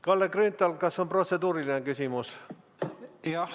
Kalle Grünthal, kas on protseduuriline küsimus?